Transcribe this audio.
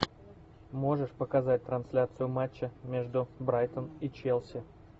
можешь показать трансляцию матча между брайтон и челси